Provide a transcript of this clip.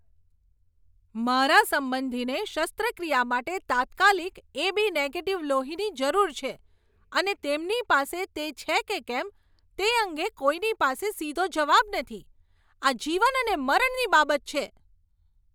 મારા સંબંધીને શસ્ત્રક્રિયા માટે તાત્કાલિક એ.બી. નેગેટીવ લોહીની જરૂર છે, અને તેમની પાસે તે છે કે કેમ તે અંગે કોઈની પાસે સીધો જવાબ નથી. આ જીવન અને મરણની બાબત છે!